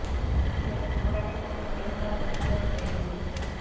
જેનું થોડાંક સમય પહેલા જ નિધન થઈ ગયું છે